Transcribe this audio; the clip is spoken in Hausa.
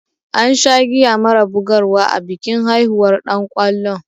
An sha giya mara bugar wa a bikin haihuwar ɗan kwallon.